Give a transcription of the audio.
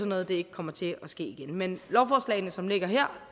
noget ikke kommer til at ske igen men lovforslagene som ligger her